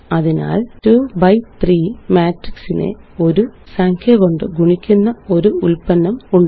അതിനാല്2 B 3 മാട്രിക്സിനെ ഒരു സംഖ്യ കൊണ്ട് ഗുണിക്കുന്ന ഒരു ഉല്പന്നം ഉണ്ട്